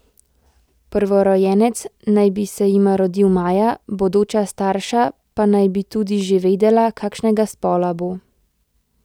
Prvorojenec naj bi se jima rodil maja, bodoča starša pa naj bi tudi že vedela, kakšnega spola bo.